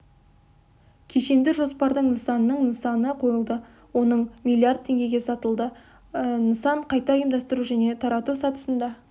кешенді жоспардың нысанының нысаны қойылды оның миллиард теңгеге сатылды нысан қайта ұйымдастыру және тарату сатысында